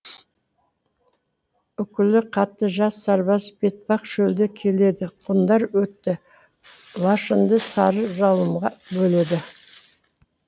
үкілі хатты жас сарбаз бетпақ шөлде келеді ғұндар өтті лашыңды сары жалынға бөледі